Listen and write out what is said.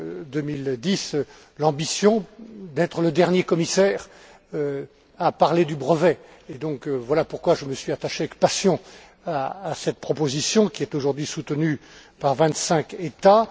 2010, l'ambition d'être le dernier commissaire à parler du brevet. Voilà pourquoi je me suis attaché avec passion à cette proposition, qui est aujourd'hui soutenue par vingt cinq États.